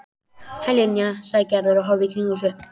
Hæ, Linja sagði Gerður og horfði í kringum sig.